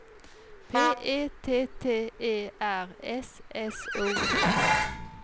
P E T T E R S S O N